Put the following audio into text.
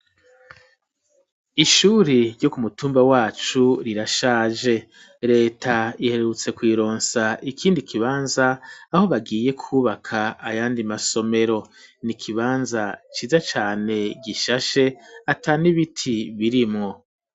Ishuri ryo ku mutumba wacu rirashaje leta iherrutse kw'ironsa ikindi kibanza aho bagiye kwubaka ayandi masomero ni ikibanza ciza cane gishashe ata neibiti birimwo.